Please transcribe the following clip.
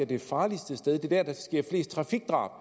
det farligste sted det er der der sker flest trafikdrab